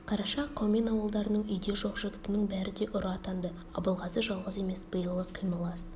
қараша қаумен ауылдарының үйде жоқ жігітінің бәрі де ұры атанды абылғазы жалғыз емес биылғы қимыл аз